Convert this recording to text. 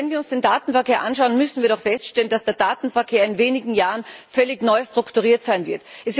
Doch, wenn wir uns den Datenverkehr anschauen, müssen wir doch feststellen, dass der Datenverkehr in wenigen Jahren völlig neu strukturiert sein wird.